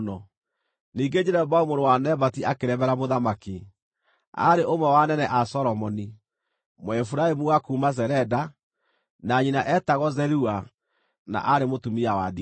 Ningĩ Jeroboamu mũrũ wa Nebati akĩremera mũthamaki. Aarĩ ũmwe wa anene a Solomoni, Mũefiraimu wa kuuma Zereda, na nyina eetagwo Zerua na aarĩ mũtumia wa ndigwa.